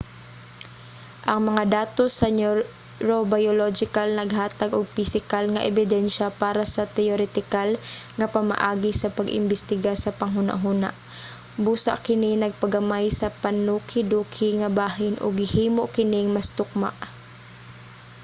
ang mga datos sa neurobiological naghatag og pisikal nga ebidensya para sa teoretikal nga pamaagi sa pag-imbestiga sa panghunahuna. busa kini nagpagamay sa panukiduki nga bahin ug gihimo kining mas tukma